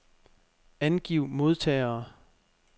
Angiv modtagere.